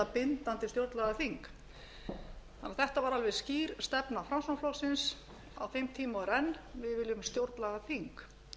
bindandi stjórnlagaþing þetta var alveg skýr stefna framsóknarflokksins á þeim tíma og er enn við viljum stjórnlagaþing